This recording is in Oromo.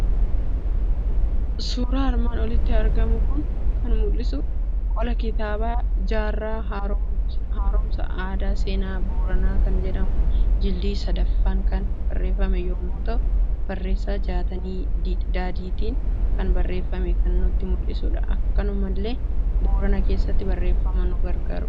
Suuraan armaan olitti argamu kun kan mul'isu; qola kitaabaa "jaarraa haaromsa aadaa seenaa booranaa" kan jedhu jildii sadaffaan kan barreeffamee yommuu ta'u, barreessa Jaatanii Diidaatin kan barreeffamee kan nutti mul'isudha; akkanumallee boorana keessatti barreeffamuusa nu agarsiisa.